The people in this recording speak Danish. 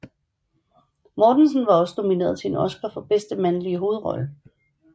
Mortensen var også nomineret til en Oscar for bedste mandlige hovedrolle